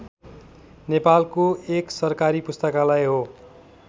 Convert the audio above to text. नेपालको एक सरकारी पुस्तकालय हो